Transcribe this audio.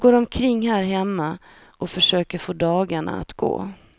Jag går omkring här hemma och försöker att få dagarna att gå.